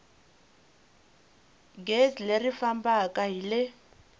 gezi leri fambaka hi le